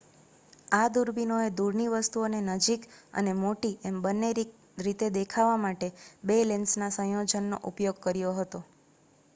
આ દૂરબીનોએ દૂરની વસ્તુઓને નજીક અને મોટી એમ બંને રીતે દેખાવા માટે 2 લેન્સના સંયોજનનો ઉપયોગ કર્યો હતો